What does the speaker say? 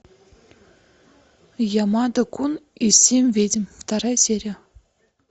ямада кун и семь ведьм вторая серия